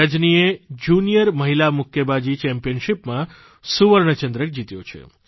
રજનીએ junior મહિલા મુક્કાબાજી સ્પર્ધામાં સુવર્ણચંદ્રક જીત્યો છે